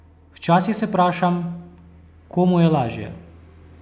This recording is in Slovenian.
Včasih se vprašam, komu je lažje?